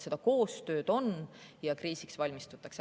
Seda koostööd on ja kriisiks valmistutakse.